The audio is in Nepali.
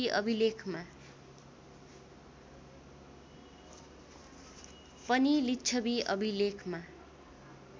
पनि लिच्छवी अभिलेखमा